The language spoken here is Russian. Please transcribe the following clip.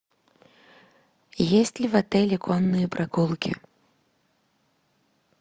есть ли в отеле конные прогулки